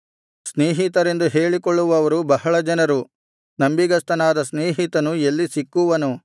ಸ್ನೇಹಿತರೆಂದು ಹೇಳಿಕೊಳ್ಳುವವರು ಬಹಳ ಜನರು ನಂಬಿಗಸ್ತನಾದ ಸ್ನೇಹಿತನು ಎಲ್ಲಿ ಸಿಕ್ಕುವನು